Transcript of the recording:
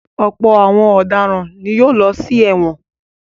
Ọ̀pọ̀ àwọn ọ̀daràn ni yóò lọ sí ẹ̀wọ̀n.